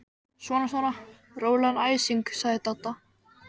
Svona svona, rólegan æsing sagði Dadda.